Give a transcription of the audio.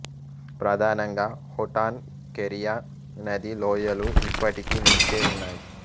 ప్రదానంగా Hotan Keriya నదీ లోయలు ఇప్పటికీ నిలిచే ఉన్నాయి